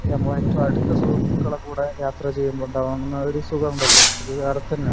അത് നമ്മളെ ഏറ്റവും അടുത്ത സുഹൃത്തുക്കളുടെ കൂടെ യാത്ര ചെയ്യുമ്പോഴുണ്ടാവുന്ന സുഖമുണ്ടല്ലോ അത് വേറെ തന്നെയാണ്